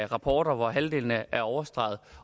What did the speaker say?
rapporter hvor halvdelen er overstreget